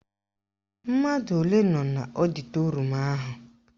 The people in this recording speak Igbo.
Mmadụ ole nọ n'ọdịtorum ahụ?